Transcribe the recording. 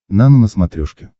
нано на смотрешке